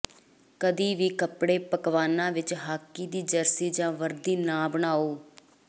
ਕਦੇ ਵੀ ਕੱਪੜੇ ਪਕਵਾਨਾਂ ਵਿੱਚ ਹਾਕੀ ਦੀ ਜਰਸੀ ਜਾਂ ਵਰਦੀ ਨਾ ਬਣਾਓ